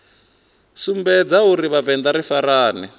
sumbedza uri vhavenḓa ri farane